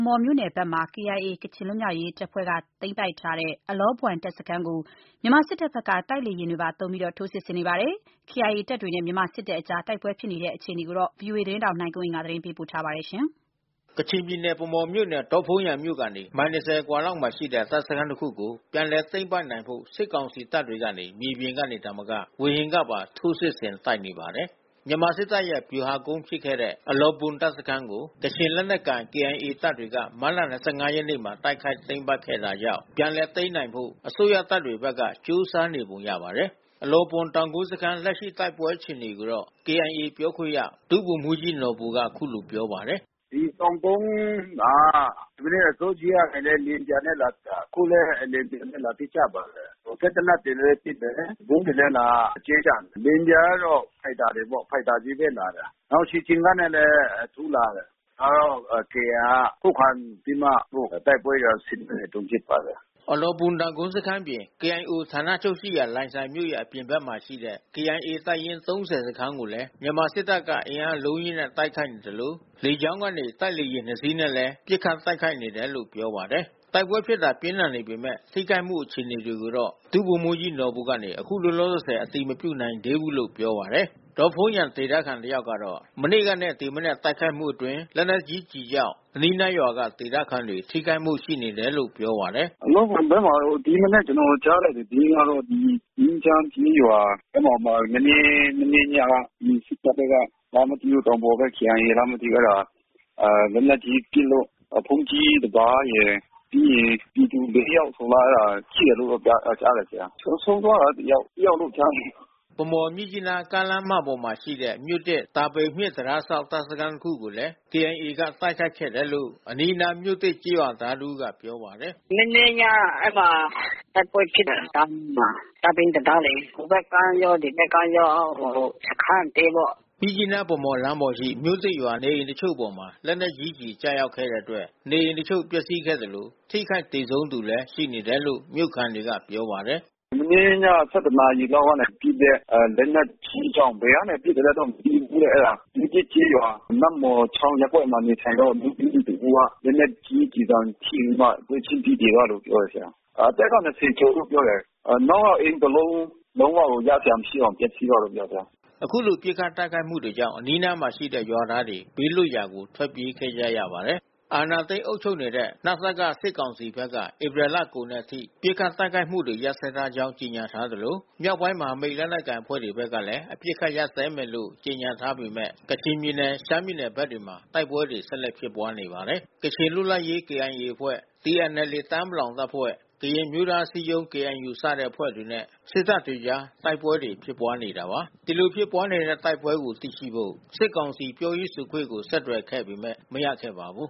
မော်မြို့နယ်ဘက်မှာ KIA ကချင်လွတ်မြောက်ရေးတပ်ဖွဲ့ကသိမ်းပိုက်ထားတဲ့ အလောဘွမ်တပ်စခန်းကို မြန်မာစစ်တပ်ဘက်က တိုက်လေယာဉ်တွေပါသုံးပြီး ထိုးစစ်ဆင်နေပါတယ်။ KIA တပ်တွေနဲ့ မြန်မာစစ်တပ်ကြား တိုက်ပွဲဖြစ်နေတဲ့အခြေအနေကို ဗွီအိုအေသတင်းထောက် နိုင်ကွန်းအိန်က သတင်းပေးပို့ထားပါတယ်။ ကချင်ပြည်နယ်၊ ဗန်းမော်မြို့နယ်၊ ဒေါ့ဖုန်းယန်မြို့ကနေ မိုင် ၂၀ အကွာလောက်မှာရှိတဲ့ တပ်စခန်းတခုကို ပြန်လည်သိမ်းနိုင်ဖို့ စစ်ကောင်စီတပ်တွေက မြေပြင်ကသာမက ဝေဟင်ကနေပါ ထိုးစစ်ဆင် တိုက်နေပါတယ်။ မြန်မာစစ်တပ်ရဲ့ ဗျူဟာကုန်းဖြစ်ခဲ့တဲ့ အလောဘွမ် တပ်စခန်းကို ကချင်လက်နက်ကိုင် KIA တပ်တွေက မတ်လ ၂၅ ရက်မှာ တိုက်ခိုက် သိမ်းပိုက်ခဲ့တာကြောင့် ပြန်သိမ်းနိုင်ဖို့ အစိုးရတပ်တွေဘက်က ကြိုးစားနေပုံရပါတယ်။ အလောဘွမ် တောင်ကုန်းစခန်း လက်ရှိ တိုက်ပွဲအခြေအနေကို KIA ပြောခွင့်ရ ဒုဗိုလ်မှူးကြီးနော်ဘူက အခုလို ပြောပါတယ်။ “ဒီတောင်ကုန်းက မနေ့က အစောကြီးကနေ လေယာဉ်ပျံနဲ့လာပစ်တာ။ အခုလည်း လေယာဉ်ပျံနဲ့လာပစ်ကြပါတယ်။ စက်သေနတ်တွေလည်းပစ်တယ်။ ဗုံးတွေလည်း လာကြဲကြတယ်။ လေယာဉ်ပျံကတော့ဖိုက်တာတွေပေါ့။ ဖိုက်တာချည်းပဲလာတာ။ နောက်ခြေကျင်နဲ့လည်း အထူးလာတယ်။ KIA က ခုခံပြီးမှ အခုတိုက်ပွဲတွေက ဖြစ်နေတုန်းဖြစ်ပါတယ်။” အလောဘွမ် တောင်ကုန်းစခန်းအပြင် KIO ဌာနချုပ်ရှိရာ လိုင်ဇာမြို့ရဲ့ အပြင်မှာရှိတဲ့ KIA တပ်ရင်း ၃၀ စခန်းကိုလည်း မြန်မာစစ်တပ်က အင်အားအလုံးအရင်းနဲ့တိုက်ခိုက်နေသလို လေကြောင်းကနေ တိုက်ဂျက် လေယာဉ် ၂ စီးနဲ့လည်း ပစ်ခတ်တိုက်ခိုက်နေတယ်လို့ ပြောပါတယ်။ တိုက်ပွဲပြင်းထန်နေပေမယ့် ထိခိုက်မှုအခြေအနေတွေကိုတော့ ဒုဗိုလ်မှူးကြီးနော်ဘူက အခုလောလောဆယ် အတည်မပြုနိုင်သေးဘူးလို့ ပြောပါတယ်။ ဒေါ့ဖုန်းယန်မြို့ခံတယောက်ကတော့ မနေ့ကနဲ့ဒီမနက်ပစ်ခတ်တိုက်ခိုက်မှုအတွင်း လက်နက်ကြီးကျည်ကြောင့် အနီးနားကရွာကဒေသခံတွေ ထိခိုက်မှု ရှိတယ်လို့ ပြောပါတယ်။ “အလောဘွမ်ဘက်မှာတော့ ဒီမနက် ကျနော်ကြားရတဲ့သတင်းကတော့ ငြိမ်းချမ်းကျေးရွာမှာ မနေ့ညက ဒီစစ်တပ်ဘက်ကလားမသိ တောင်ပေါ်ဘက် KIA လားမသိဘူး။ လက်နက်ကြီးပစ်လို့ ဘုန်းကြီးတပါးရယ်၊ ပြီးရင် ပြည်သူ ယောက် ထိတယ်လို့ ကြားတယ်။ ဆုံးသွားတာတယောက်လို့ကြားတယ်။” ဗန်းမော် မြစ်ကြီးနား ကားလမ်းမပေါ်မှာရှိတဲ့ မြို့သစ်-တာပိန်မြစ်တံတားစောင့် တပ်စခန်းတခုကိုလည်းKIA က တိုက်ခိုက်ခဲ့တယ်လို့ အနီးနား မြို့သစ် ကျေးရွာသားတဦးကပြောပါတယ်။ “မနေ့ည အဲဒီမှာတိုက်ပွဲဖြစ်တယ်။ တာပိန်တံတားလေ။ ဟိုဘက်ကမ်းရော ဒီဘက်ကမ်းရော စခမ်းအသေးပေါ့။” မြစ်ကြီးနား-ဗန်းမော် လမ်းပေါ်က မြို့သစ်ရွာနဲ့ကုန်းရွာရှိ နေအိမ်အချို့ပေါ်လက်နက်ကြီးကျတဲ့အတွက် နေအိမ်တချို့ ပျက်စီးခဲ့သလို ထိခိုက် သေဆုံးသူတွေလည်း ရှိတယ်လို့ မြို့ခံက ပြောပါတယ်။ “မနေ့ည နာရီလောက်ကပစ်တဲ့ လက်နက်ကြီးကြောင့် ဘယ်ကနေပစ်သလဲတော့မသိဘူး။ အဲတာ မြို့သစ်ကျေးရွာ နတ်မှော်ချောင်းရပ်ကွက်မှာ နေထိုင်တဲ့ အမျိုးသမီးတဦး လက်နက်ကြီးကျည်ဆံထိပြီး ပွဲချင်းပြီးသေသွားတယ်လို့ ပြောတယ်။ အသက်က ကျော်လို့ ပြောတယ်။ နောက်က အိမ်တလုံး လုံးဝကိုရစရာမရှိအောင်ပျက်စီးသွားတယ်ပေါ့ဗျာ။” အခုလို ပစ်ခတ်တိုက်ခိုက်မှုတွေကြောင့် အနီးအနားမှာရှိတဲ့ ရွာသားတွေ ဘေးလွတ်ရာထွက်ပြေးခဲ့ကြရပါတယ်။ အာဏာသိမ်းအုပ်ချုပ်နေတဲ့ နစက စစ်ကောင်စီဘက်က ဧပြီလကုန်တဲ့အထိ ပစ်ခတ်တိုက်ခိုက်မှုတွေ ရပ်စဲထားကြောင်း ကြေညာထားသလို မြောက်ပိုင်း မဟာမိတ် လက်နက်ကိုင်အဖဲ့ွတွေဘက်ကလည်း အပစ်အခတ်ရပ်စဲမယ်လို့ ကြေညာထားပေမဲ့ ကချင်ပြည်နယ်၊ ရှမ်းပြည်နယ်ဘက်တွေမှာ တိုက်ပွဲတွေ ဆက်လက်ဖြစ်ပွားနေပါတယ်။ ကချင်လွတ်မြောက်ရေး KIA အဖွဲ့၊ TNLA တအာင်း ပလောင်တပ်ဖွဲ့၊ ကရင် အမျိုးသားအစည်းအရုံး၊ KNU စတဲ့အဖဲ့ွတွေနဲ့ စစ်တပ်ကြား တိုက်ပွဲတွေ ဖြစ်နေတာပါ။ ဒီလိုဖြစ်ပွါးနေတဲ့တိုက်ပွဲအခြေအနေကိုသိရှိဖို့ စစ်ကောင်စီပြောရေးဆိုခွင့်ကိုဆက်သွယ်ခဲ့ပေမဲ့မရခဲ့ပါဘူး